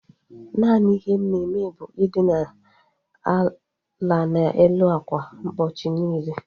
Naanị ihe m na-eme bụ i dina ala n'elu ákwà ụbọchị niile